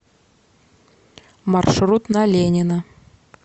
маршрут на ленина